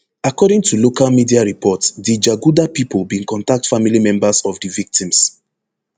according to local media report di jaguda pipo bin contact family members of di victims